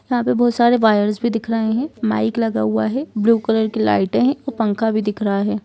यहाँ पे बहुत सारे वायर्स भी दिख रहे है माइक लगा हुआ है ब्लू कलर की लाइटए है और पंखा भी दिख रहा हैं।